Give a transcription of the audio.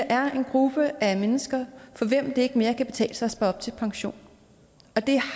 er en gruppe af mennesker for hvem det ikke mere kan betale sig at spare op til pension det